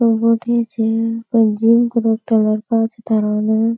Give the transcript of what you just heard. फेर जिम कोरे एकटा लड़का छे थारा होय ने।